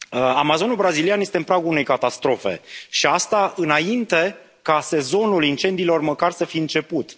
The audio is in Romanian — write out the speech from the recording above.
Amazonul brazilian este în pragul unei catastrofe și asta înainte ca sezonul incendiilor măcar să fi început.